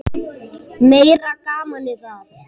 Meira gamanið það!